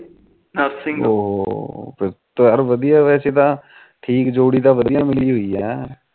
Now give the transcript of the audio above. ਓ ਹੋਹੋ ਯਾਰ ਵਧੀਆਂ ਵੈਸੇ ਤਾ ਠੀਕ ਜੋੜੀ ਤਾ ਵਧੀਆਂ ਮੀਲੀ ਹੋਈ ਏ